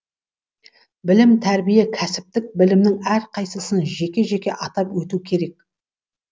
білім тәрбие кәсіптік білімнің әрқайсысын жеке жеке атап өту керек